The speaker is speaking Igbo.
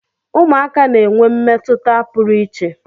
Ụmụaka na-enwe mmetụta pụrụ iche.